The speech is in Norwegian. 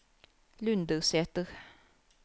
Lundersæter